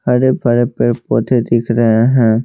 हरे भरे पेड़ पौधे दिख रहे हैं।